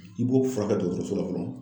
I b'o furakɛ dɔgɔtɔrɔso la fɔlɔ.